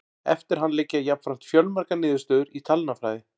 Eftir hann liggja jafnframt fjölmargar niðurstöður í talnafræði.